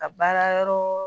A baara yɔrɔɔ